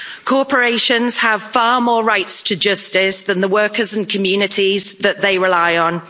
Corporations have far more rights to justice than the workers and communities that they rely on.